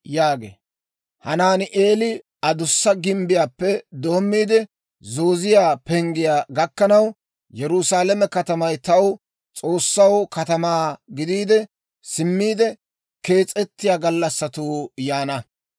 Med'inaa Goday hawaadan yaagee; «Hanaani'eela Adussa Gimbbiyaappe doommiide, Zooziyaa Penggiyaa gakkanaw, Yerusaalame katamay taw, S'oossaw, katamaa gidiide, simmiide kees'ettiyaa gallassatuu yaana.